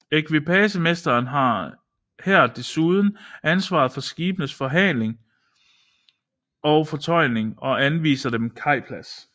Ekvipagemesteren har her desuden ansvaret for skibenes forhaling og fortøjning og anviser dem kajplads